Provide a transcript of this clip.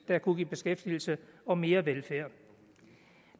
der kunne give beskæftigelse og mere velfærd